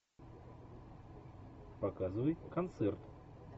показывай концерт